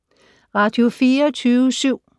Radio24syv